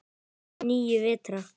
Níu vetra.